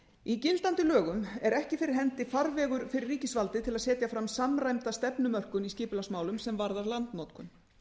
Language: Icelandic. í gildandi lögum er ekki fyrir hendi skýr farvegur fyrir ríkisvaldið til að setja fram samræmda stefnumörkun í skipulagsmálum sem varðar landnotkun